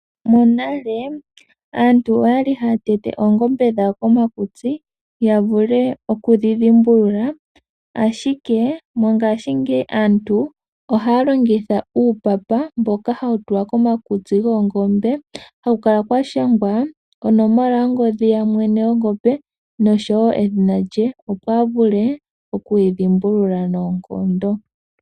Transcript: Monale aantu okwali haya tete oongombe dhawo komakutsi, ya vule okudhi dhimbulula ashike mongashingeyi aantu ohaya longitha uupapa mboka hawu tulwa komakutsi goongombe, haku kala kwashangwa onomola yongodhi ya mwene gongombe osho wo edhina lye, opo avule okuyi dhimbulula noonkondo.